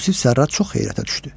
Yusif Sərrac çox heyrətə düşdü.